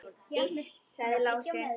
Iss, sagði Lási.